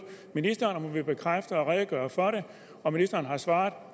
ministeren om hun ville bekræfte og redegøre for det og ministeren har svaret